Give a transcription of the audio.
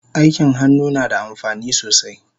Aikin hannu nada amfani sosai